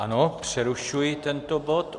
Ano, přerušuji tento bod.